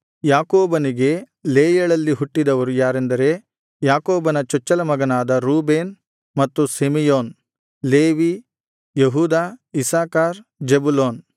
ಯಾಕೋಬನಿಗೆ ಲೇಯಳಲ್ಲಿ ಹುಟ್ಟಿದವರು ಯಾರೆಂದರೆ ಯಾಕೋಬನ ಚೊಚ್ಚಲ ಮಗನಾದ ರೂಬೇನ್ ಮತ್ತು ಸಿಮೆಯೋನ್ ಲೇವಿ ಯೆಹೂದ ಇಸ್ಸಾಕಾರ್ ಜೆಬುಲೂನ್